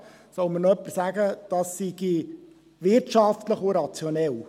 Es soll mir noch jemand sagen, dies sei wirtschaftlich und rationell.